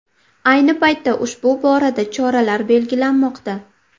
Ayni paytda ushbu borada choralar belgilanmoqda.